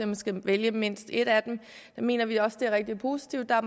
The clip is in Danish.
man skal vælge mindst et af dem mener vi også er rigtig positivt der